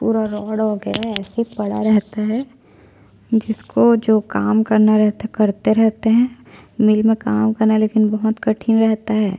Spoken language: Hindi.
पूरा रोड वगेरा अइसे ही पड़ा रहता हैं जिसको जो काम करना रहता है करते रहते है मिल में काम करना लेकिन बहुत कठिन रहता है।